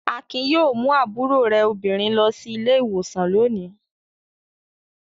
Akin yóò mú àbúrò rẹ̀ obìnrin lọ sí ilé-ìwòsàn lónìí.